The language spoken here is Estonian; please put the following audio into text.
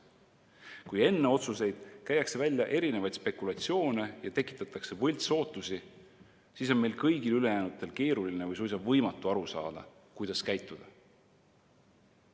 Kui enne otsuseid käiakse välja erinevaid spekulatsioone ja tekitatakse võltsootusi, siis on meil ülejäänutel keeruline või suisa võimatu aru saada, kuidas käituda.